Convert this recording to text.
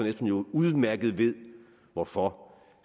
jo udmærket hvorfor